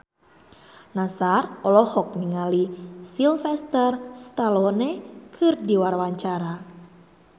Nassar olohok ningali Sylvester Stallone keur diwawancara